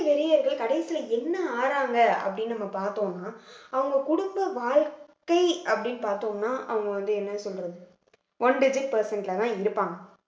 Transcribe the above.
வெறியர்கள் கடைசியில என்ன ஆகுறாங்க அப்படின்னு நம்ம பார்த்தோம்ன்னா அவங்க குடும்ப வாழ்க்கை அப்படின்னு பார்த்தோம்னா அவங்க வந்து என்ன சொல்றது one digit percent லதான் இருப்பாங்க